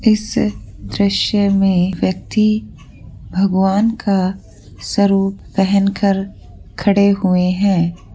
इस दृश्य में व्यक्ति भगवान का सरूप पहनकर खड़े हुए है।